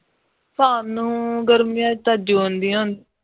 ਸਾਨੂੰ ਗਰਮੀਆਂ ਚ ਤਾਂ june ਦੀਆਂ ਹੁੰਦੀਆਂ